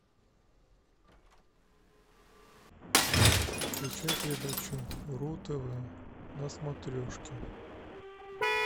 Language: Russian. включай передачу ру тв на смотрешке